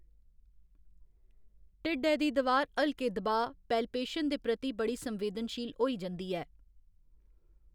ढिड्डै दी दवार हल्के दबाऽ, पैल्पेशन, दे प्रति बड़ी संवेदनशील होई जंदी ऐ।